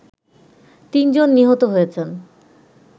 ৩ জন নিহত হয়েছেন